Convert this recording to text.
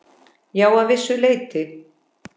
Já, að vissu leyti.